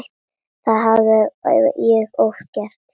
Það hafði ég oft gert.